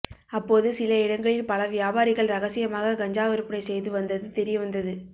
அப்போது சில இடங்களில் பழ வியாபாரிகள் ரகசியமாக கஞ்சா விற்பனை செய்து வந்தது தெரிய வந்தது